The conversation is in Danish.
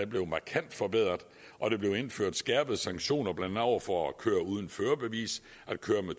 blev markant forbedret og der blev indført skærpede sanktioner blandt andet over for at køre uden førerbevis og køre